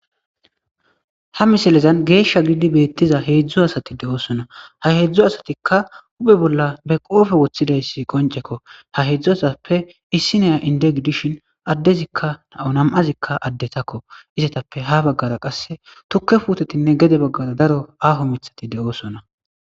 ha misilezan geeshsha giidi beettiza heedzdzu asati de7oosona ha heedzdzu asatikka uphe bolla be qoofe woththidayssi qoncekko ha heedzdzu sappe issi neya inde gidishin addezikka nau nam7azikka addetakko izetappe ha baggara qasse tukke puutetinne gede baggara daro aho mithati de7oosona